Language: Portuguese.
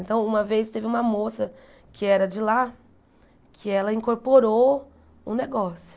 Então, uma vez teve uma moça que era de lá, que ela incorporou um negócio.